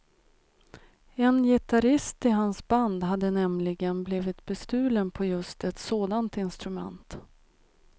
En gitarrist i hans band hade nämligen blivit bestulen på just ett sådant instrument.